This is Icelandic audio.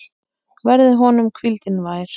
Verði honum hvíldin vær.